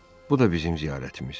Bu da bizim ziyarətimiz.